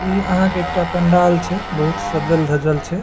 इ अहां के एकटा पंडाल छै बहुत सजल धजल छै।